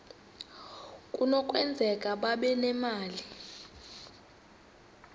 kunokwenzeka babe nemali